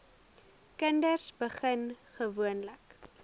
kinders begin gewoonlik